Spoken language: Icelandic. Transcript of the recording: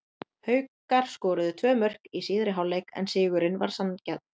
Haukar skoruðu tvö mörk í síðari hálfleik en sigurinn var sanngjarn.